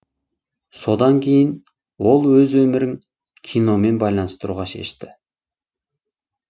содан кейін ол өз өмірің киномен байланыстыруға шешті